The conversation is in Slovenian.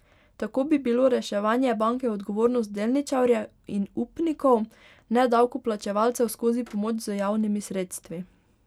Tako bi bilo reševanje banke odgovornost delničarjev in upnikov, ne davkoplačevalcev skozi pomoč z javnimi sredstvi.